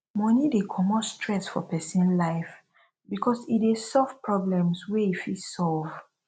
money de comot stress for persin life because e de solve problems wey e fit solve